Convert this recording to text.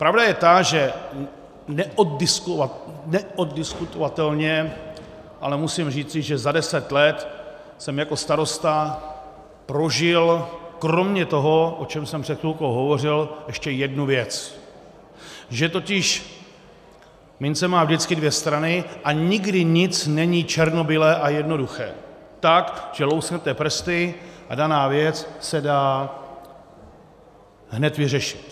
Pravda je ta, že neoddiskutovatelně, ale musím říci, že za deset let jsem jako starosta prožil kromě toho, o čem jsem před chvilkou hovořil, ještě jednu věc, že totiž mince má vždycky dvě strany a nikdy nic není černobílé a jednoduché tak, že lusknete prsty a daná věc se dá hned vyřešit.